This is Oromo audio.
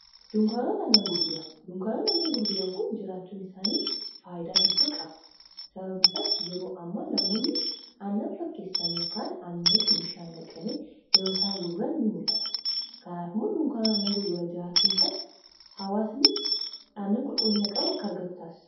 dunkaanot annan gurguran duunkaanoot annan gurguran kun jiraachuun isaanii faayidaa hedduu qaba sababniisaas yeroo amma namoonni annan fakkeessanii kaan annanitti bishaan naqanii yeroo isaan gurguran ni mul'ata kanaaf immoo duunkaanota annan gurguran jiraachuun isaa hawaasni aannan qulquliina qabu akka argatutaasisa